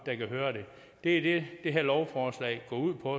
der kan høre det det er det det her lovforslag går ud på